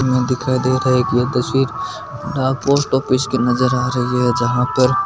दिखाई दे रहा है की यह तस्वीर डाक पोस्ट ऑफिस की नजर आ रही है जहा पर--